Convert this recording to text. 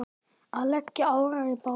Að leggja árar í bát?